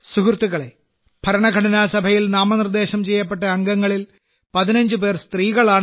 സുഹൃത്തുക്കളേ ഭരണഘടനാസഭയിൽ നാമനിർദ്ദേശം ചെയ്യപ്പെട്ട അംഗങ്ങളിൽ 15 പേർ സ്ത്രീകളാണ്